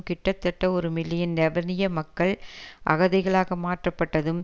கிட்டத்தட்ட ஒரு மில்லியன் லெபனிய மக்கள் அகதிகளாக மாற்றப்பட்டதும்